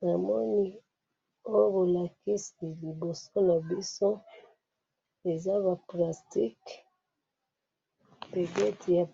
Na dessin na moni awa eza ba plastic, mbegeti ya